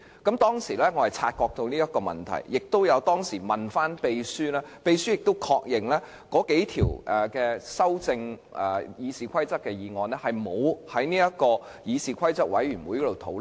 我當時已察覺這情況，並向秘書查問，而秘書亦確認有數項《議事規則》的擬議決議案沒有經議事規則委員會討論。